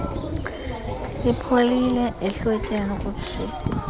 ipholile ehlotyeni kutshiphu